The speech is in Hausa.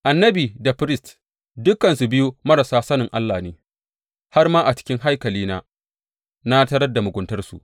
Annabi da firist dukansu biyu marasa sanin Allah ne; har ma a cikin haikalina na tarar da muguntarsu,